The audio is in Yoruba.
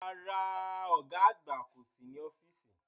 Rárá, ọ̀gá àgbà kò sí ní ọ́fíìsì